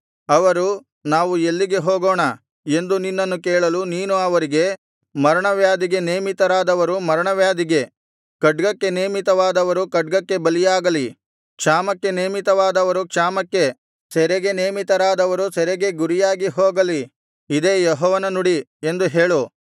ಅವರು ನಾವು ಎಲ್ಲಿಗೆ ಹೋಗೋಣ ಎಂದು ನಿನ್ನನ್ನು ಕೇಳಲು ನೀನು ಅವರಿಗೆ ಮರಣ ವ್ಯಾಧಿಗೆ ನೇಮಿತರಾದವರು ಮರಣವ್ಯಾಧಿಗೆ ಖಡ್ಗಕ್ಕೆ ನೇಮಿತರಾದವರು ಖಡ್ಗಕ್ಕೆ ಬಲಿಯಾಗಲಿ ಕ್ಷಾಮಕ್ಕೆ ನೇಮಿತರಾದವರು ಕ್ಷಾಮಕ್ಕೆ ಸೆರೆಗೆ ನೇಮಿತರಾದವರು ಸೆರೆಗೆ ಗುರಿಯಾಗಿ ಹೋಗಲಿ ಇದೇ ಯೆಹೋವನ ನುಡಿ ಎಂದು ಹೇಳು